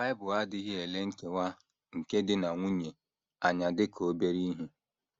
Bible adịghị ele nkewa nke di na nwunye anya dị ka obere ihe.